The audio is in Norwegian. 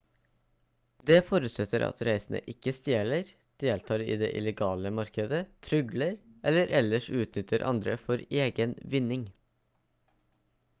det forutsetter at reisende ikke stjeler deltar i det illegale markedet trygler eller ellers utnytter andre for egen vinning